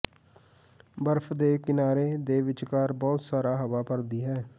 ਬਰਫ਼ ਦੇ ਕਿਨਾਰੇ ਦੇ ਵਿਚਕਾਰ ਬਹੁਤ ਸਾਰਾ ਹਵਾ ਭਰਦੀ ਹੈ